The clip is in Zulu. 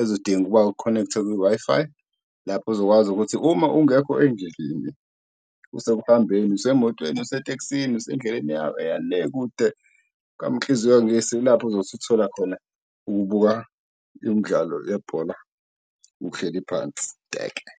ezodinga ukuba u-connect-e kwi-Wi-Fi. Lapho ozokwazi ukuthi uma ungekho endlini useku uhambeni usemotweni, usetekisini, usendleleni eya le kude kaMkhize uyangisa, ilapho azozuthola khona ukubuka imdlalo yebhola uhleli phansi teke.